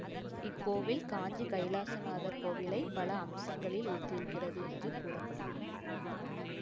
இக்கோவில் காஞ்சி கைலாசநாதர் கோவிலைப் பல அம்சங்களில் ஒத்திருக்கிறது என்று கூற படுகிறது